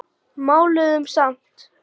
Máluðum samt.